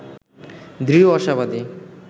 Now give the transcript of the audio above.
দৃঢ় আশাবাদী